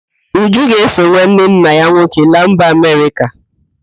Uju ga-eso nwanne nna ya nwoke laa mba Amerịka